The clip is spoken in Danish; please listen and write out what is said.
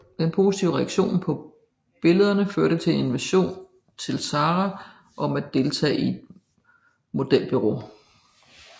Den positive reaktion på billederne førte til en invitation til Sarah om at deltage i et modelbureau